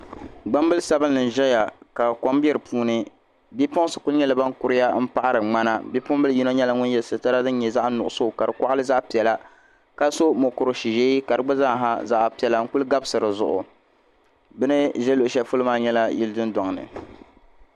gbambil' sabinli n zaya ka kom be di puuni bipuɣinsi kuli nyɛla ban kuriya m paɣiri ŋmana bipuɣimbila yino nyɛla ŋun ye situra din nyɛ zaɣ' nuɣiso ka di kɔɣili zaɣ' piɛla ka so mukur' ʒee ka di gba zaa ha zaɣ' piɛla n kuli gabisi di zuɣu bɛ ni za luɣ' shɛli polo maa nyɛla yili dundɔŋ ni